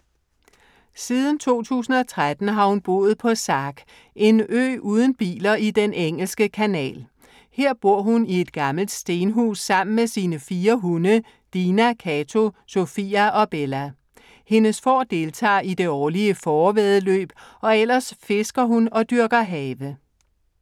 Siden 2013 har hun boet på Sark. En ø uden biler i den engelske kanal. Her bor hun i et gammelt stenhus sammen med sine fire hunde Dina, Cato, Sofia og Bella. Hendes får deltager i det årlige fårevæddeløb og ellers fisker hun og dyrker have.